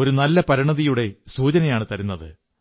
ഒരു നല്ല പരിണതിയുടെ സൂചനയാണു തരുന്നത്